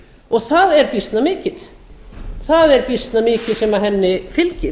og það er býsna mikið sem henni fylgir